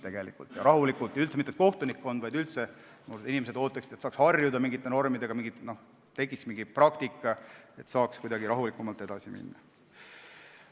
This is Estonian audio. Seda ei oota isegi mitte ainult kohtunikkond, vaid üldse inimesed ootavad, et nad saaksid normidega harjuda, tekiks mingi praktika ja saaks rahulikumalt edasi minna.